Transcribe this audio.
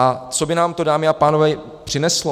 A co by nám to, dámy a pánové, přineslo?